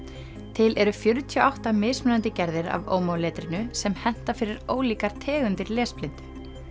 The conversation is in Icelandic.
til eru fjörutíu og átta mismunandi gerðir af omo letrinu sem henta fyrir ólíkar tegundir lesblindu